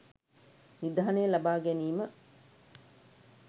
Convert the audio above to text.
නිධානය ලබා ගැනීම